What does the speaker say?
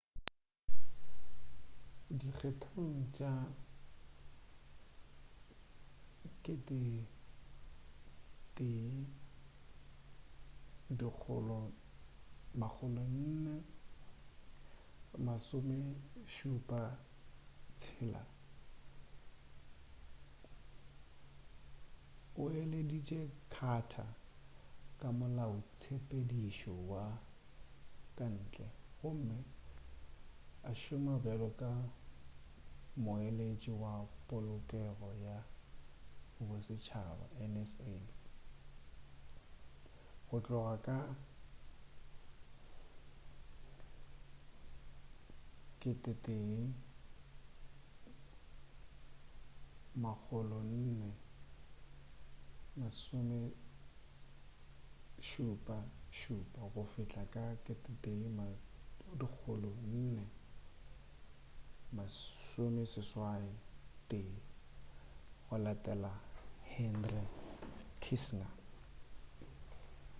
dikgethong tša 1976 o eleditše carter ka molaotshepedišo wa ka ntle gomme a šoma bjalo ka moeletši wa polokego ya bosetšhaba nsa go tloga ka 1977 go fihla ka 1981 a latela henry kissinger